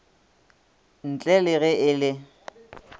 ntle le ge e le